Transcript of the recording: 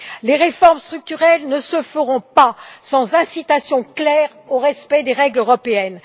Les réformes structurelles ne se feront pas sans incitation claire au respect des règles européennes.